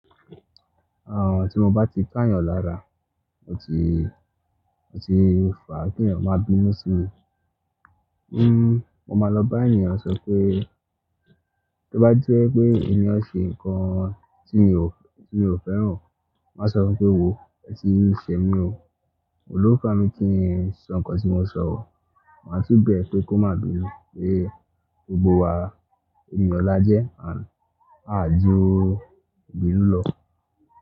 Àwọn tí mo bá ti ká yàn lára, mo ti, mo ti rò fún kí ènìyàn má bí mí sí mi. Hmm mo máa lọ bá ènìyàn sọ pé, tó bá je pé èniyan ṣe nǹkan tí mi ò, tí mi ò fẹ́ràn o, máa sọ fún pé, wòó ẹ ti ń ṣe mí o, ò ní lò fa mi kí n sọ nǹkan tí mo ò ṣọ o. Máa tún bẹ́ẹ̀ pé kó má bí mi, pé gbogbo wa ènìyàn la jẹ́ à a ju ilú lọ.